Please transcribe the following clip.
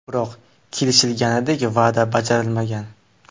Biroq kelishilganidek va’da bajarilmagan.